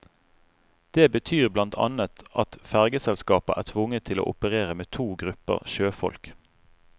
Det betyr blant annet at fergeselskaper er tvunget til å operere med to grupper sjøfolk.